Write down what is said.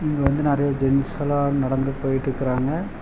இங்க வந்து நறைய ஜென்ஸலா நடந்து போயிட்டுக்குறாங்க.